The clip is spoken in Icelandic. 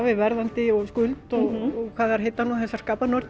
við verðandi skuld og hvað þær heita nú þessar